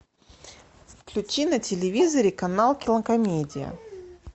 включи на телевизоре канал кинокомедия